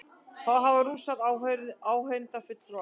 Þá hafa Rússar áheyrnarfulltrúa